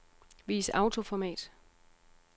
Vis autoformat.